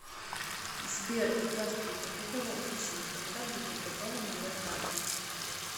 сбер здравствуйте хотела уточнить когда будет готова моя карта